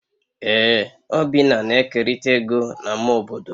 Ee obinna na-ekerịta ego na ama obodo